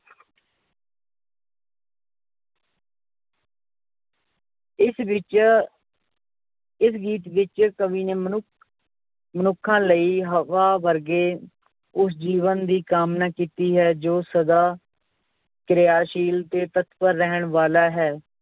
ਇਸ ਵਿੱਚ ਇਸ ਗੀਤ ਵਿੱਚ ਕਵੀ ਨੇ ਮਨੁੱਖ ਮਨੁੱਖਾਂ ਲਈ ਹਵਾ ਵਰਗੇ ਉਸ ਜੀਵਨ ਦੀ ਕਾਮਨਾ ਕੀਤੀ ਹੈ ਜੋ ਸਦਾ ਕਿਰਿਆਸ਼ੀਲ ਤੇ ਤਤਪਰ ਰਹਿਣ ਵਾਲਾ ਹੈ